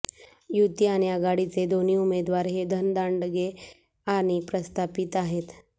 युती आणि आघाडीचे दोन्ही उमेदवार हे धनदांडदे आणि प्रस्थापित आहेत